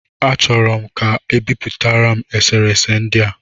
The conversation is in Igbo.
M chọrọ ka e bipụtara m eserese ndị a